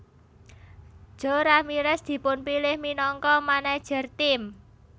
Jo Ramirez dipunpilih minangka manajer tim